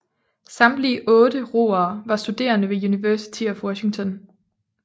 Samtlige otte roere var studerende ved University of Washington